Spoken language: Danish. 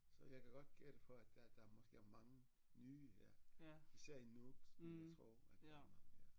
Så jeg kan godt gætte på at der der måske er mange nye ja især i Nuuk som jeg tror at der er mange ja